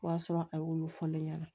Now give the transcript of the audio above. O y'a sɔrɔ a y'olu fɔ ne ɲɛna